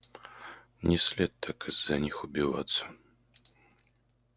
не след так из-за них убиваться